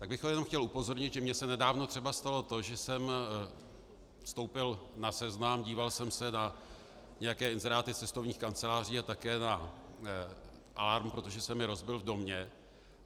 Tak bych ho jenom chtěl upozornit, že mně se nedávno třeba stalo to, že jsem vstoupil na Seznam, díval jsem se na nějaké inzeráty cestovních kanceláří a také na alarm, protože se mi rozbil v domě.